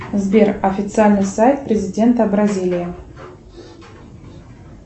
сбер официальный сайт президента бразилии